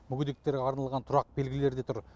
мүгедектерге арналған тұрақ белгілері де тұр